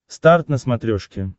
старт на смотрешке